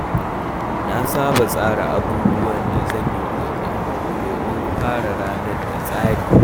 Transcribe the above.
Na saba tsara abubuwan da zan yi gobe domin fara ranar da tsari.